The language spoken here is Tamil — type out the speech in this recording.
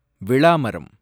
விளா மரம்